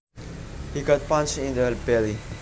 He got punched in the belly